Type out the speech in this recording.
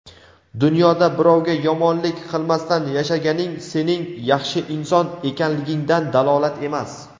Dunyoda birovga yomonlik qilmasdan yashaganing sening yaxshi inson ekanligingdan dalolat emas.